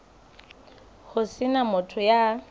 ho se na motho ya